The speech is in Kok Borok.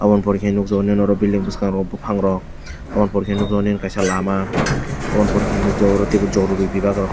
oboni pore khe nukjakgo nini oro building bwskang rogo buphang rok oboni pore khe nini kaisa lama oboni pore khe nokjakgo jorori bivag rok.